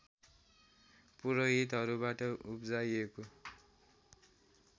पुरोहितहरूहबाट उप्जाइएको